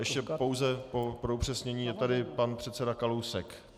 Ještě pouze pro upřesnění - je tady pan předseda Kalousek.